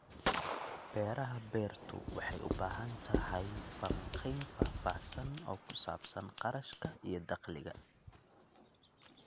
Beeraha Beertu waxay u baahan tahay falanqayn faahfaahsan oo ku saabsan kharashka iyo dakhliga.